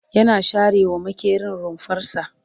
yana share wa maƙerin rumfarsa